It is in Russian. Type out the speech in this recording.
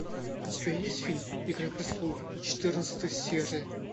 у тебя есть фильм игра престолов четырнадцатая серия